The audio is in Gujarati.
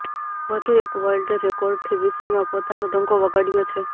વધુ એક વર્લ્ડ રેકોર્ડથી વિશ્વમાં પોતાનો ડંકો વગાડ્યો છે